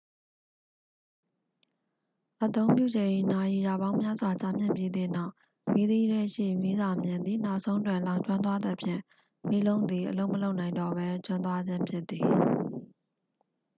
အသုံးပြုချိန် နာရီရာပေါင်းများစွာ ကြာမြင့်ပြီးသည့်နောက် မီးသီးထဲရှိ မီးစာမျှင်သည် နောက်ဆုံးတွင် လောင်ကျွမ်းသွားသဖြင့် မီးလုံးသည် အလုပ်မလုပ်နိုင်တော့ပဲ ကျွမ်းသွားခြင်းဖြစ်သည်